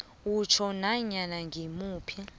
utjho nanyana ngimuphi